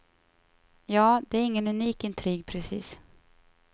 Ja, det är ingen unik intrig precis.